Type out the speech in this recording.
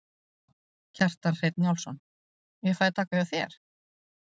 Kjartan Hreinn Njálsson: Ég fæ að taka hjá þér?